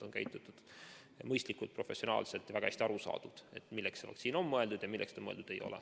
On käitutud mõistlikult, professionaalselt, väga hästi on aru saadud, milleks see vaktsiin on mõeldud ja milleks see mõeldud ei ole.